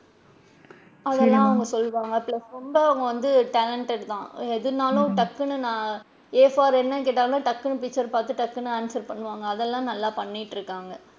அதலாம் அவுங்க சொல்லுவாங்க plus ரொம்ப அவுங்க வந்து talented தான் எதனாலும் டக்குன்னு நான் a for என்னன்னு கேட்டாலும் டக்குன்னு picture ற பாத்துட்டு டக்குன்னு answer பண்ணுவாங்க அதலாம் நல்லா பண்ணிட்டு இருக்காங்க.